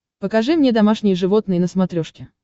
покажи мне домашние животные на смотрешке